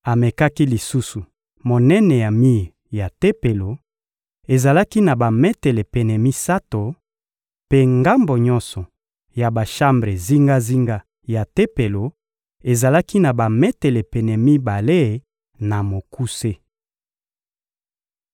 Amekaki lisusu monene ya mir ya Tempelo: ezalaki na bametele pene misato; mpe ngambo nyonso ya bashambre zingazinga ya Tempelo ezalaki na bametele pene mibale na mokuse.